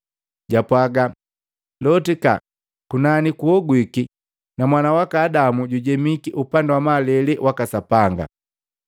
Jwapwaga, “Lotika kunani kuhogwiki na mwana waka Adamu jujemiki upandi wa malele waka Sapanga.”